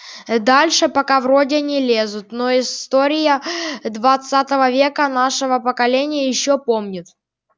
дальше пока вроде не лезут но история двадцатого века нашего поколение ещё помнит